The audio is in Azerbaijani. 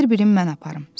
Ver birini mən aparım.